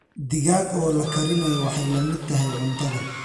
Digaag oo la karinayo waxay la mid tahay cuntada.